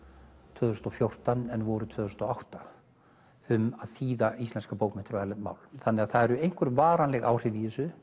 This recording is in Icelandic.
tvö þúsund og fjórtán en voru tvö þúsund og átta um að þýða íslenskar bókmenntir á erlend mál það eru einhver varanleg áhrif í þessu